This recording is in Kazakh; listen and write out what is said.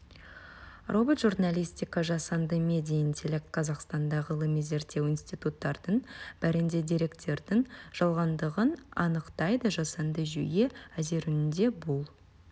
робот журналистика жасанды медиа интеллект қазақстанда ғылыми-зерттеу институттарының бірінде деректердің жалғандығын анықтайды жасанды жүйе әзіренуде бұл